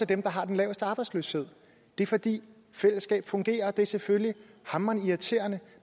dem der har den laveste arbejdsløshed det er fordi fællesskab fungerer og det er selvfølgelig hamrende irriterende